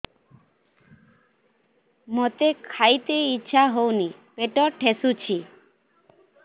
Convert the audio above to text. ମୋତେ ଖାଇତେ ଇଚ୍ଛା ହଉନି ପେଟ ଠେସୁଛି